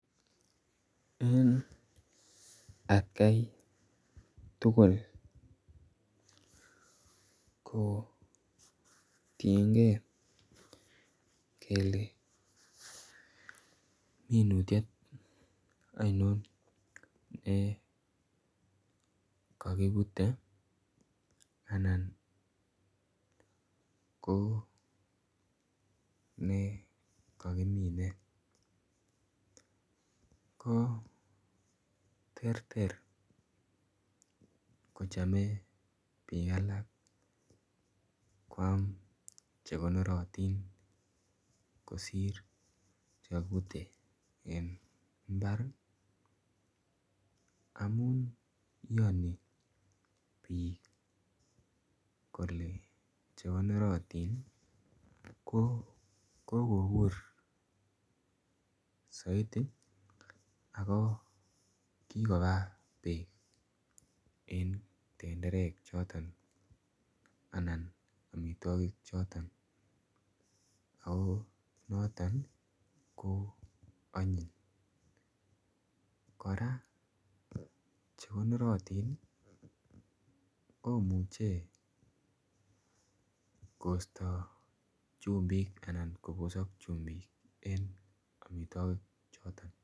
Eng at Kai tuguul ko kingeet kele minutiet ainon nekakibute anan ko nekakimine ko terter kochame biik alaak che konoratiin kosiir che kakibutee eng mbar ii amuun iyanii biik kole chekonorariin ko kokobuur zaidi ako kikobaa beek en tenderek chotoon ako chotoon ii ko anyiiny kora chekoratiin ii komuchei koista chumbiik anan kobosaak chumbiik en amitwagiik chotoon.